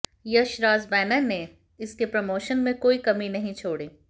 Yashraj banner ने इसके promotion में कोई कमी नहीं छोड़ी